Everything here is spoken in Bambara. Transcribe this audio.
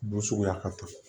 Bu suguya ka ca